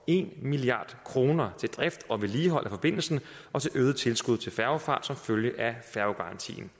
en milliard kroner til drift og vedligehold af forbindelsen og til øget tilskud til færgefart som følge af færgegarantien